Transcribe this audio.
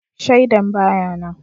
Shaidan ba ya nan